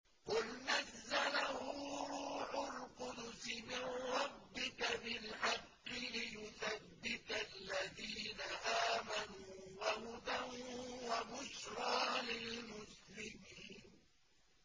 قُلْ نَزَّلَهُ رُوحُ الْقُدُسِ مِن رَّبِّكَ بِالْحَقِّ لِيُثَبِّتَ الَّذِينَ آمَنُوا وَهُدًى وَبُشْرَىٰ لِلْمُسْلِمِينَ